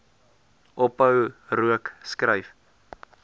ophou rook skryf